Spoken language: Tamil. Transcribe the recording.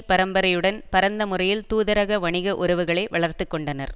பரம்பரையுடன் பரந்த முறையில் தூதரக வணிக உறவுகளை வளர்த்து கொண்டனர்